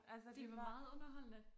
Det var meget underholdende